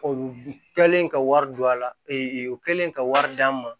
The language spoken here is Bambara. O kɛlen ka wari don a la o kɛlen ka wari d'an ma